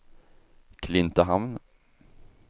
Klintehamn